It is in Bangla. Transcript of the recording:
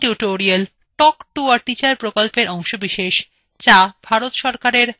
spoken tutorial টক্ to a teacher প্রকল্পের অংশবিশেষ